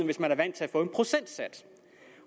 hvis man er vant til at få en procentsats